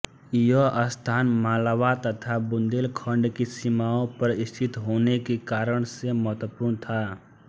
यह स्थान मालवा तथा बुंदेलखंड की सीमाओं पर स्थित होने के कारण से महत्वपूर्ण था